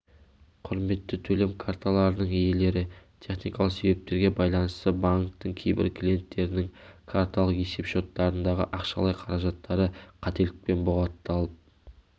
құрметті ытөлем карталарының иелері техникалық себептерге байланысты банктің кейбір клиенттерінің карталық есеп-шоттарындағы ақшалай қаражаттары қателікпен бұғатталып